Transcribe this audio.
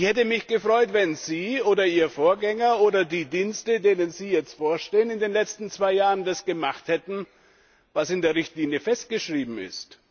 Ich hätte mich gefreut, wenn Sie oder Ihr Vorgänger oder die Dienste, denen Sie jetzt vorstehen, in den letzten zwei Jahren das gemacht hätten, was in der Richtlinie festgeschrieben ist.